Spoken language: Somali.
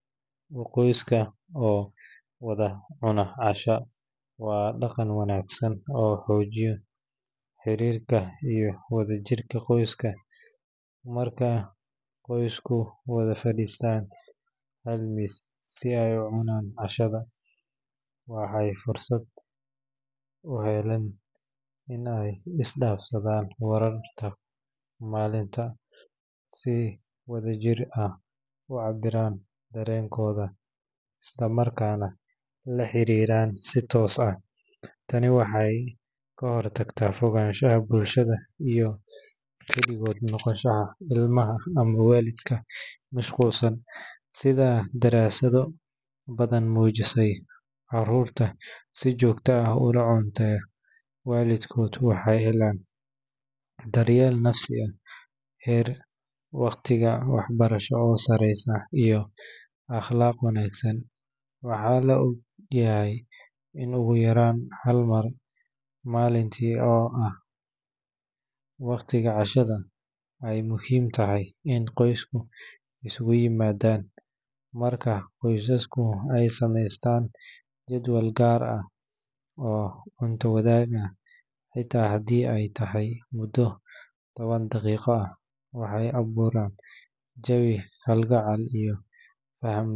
oyska oo wada cuna cashada waa dhaqan wanaagsan oo xoojiya xiriirka iyo wadajirka qoyska. Marka qoysku wada fadhiistaan hal miis si ay u cunaan cashada, waxay fursad u helaan in ay isdhaafsadaan wararka maalinta, ay si wadajir ah u cabbiraan dareenkooda, isla markaana la xiriiraan si toos ah. Tani waxay ka hortagtaa fogaanshaha bulshada iyo kaligood noqoshada ilmaha ama waalidka mashquulsan. Sida daraasado badan muujisay, carruurta si joogto ah ula cunta waalidkood waxay helaan daryeel nafsi ah, heer waxbarasho oo sareeya, iyo akhlaaq wanaagsan. Waxaa la og yahay in ugu yaraan hal mar maalintii, oo ah waqtiga cashada, ay muhiim tahay in qoysku isugu yimaadaan. Marka qoysaska ay sameystaan jadwal gaar ah oo cunto wadaag ah, xitaa haddii ay tahay muddo toban daqiiqo ah, waxay abuuraan jawi kalgacal.